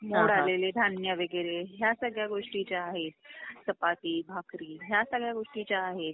मोड आलेले धान्य वगैरे ह्या सगळ्या गोष्टी ज्या आहेत चपाती, भाकरी ह्या सगळ्या गोष्टी ज्या आहेत